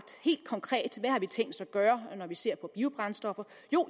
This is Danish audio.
helt konkret tænkt os at gøre når vi ser på biobrændstoffer